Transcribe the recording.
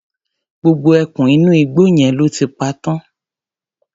Gbogbo ẹkùn inú igbó yẹn lọ́ ti pa tán.